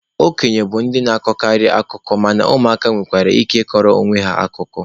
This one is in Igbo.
Okenye bụ ndị na-akọkarị akụkọ mana ụmụ aka nwekwara ike ịkọrọ onwe ha akụkọ.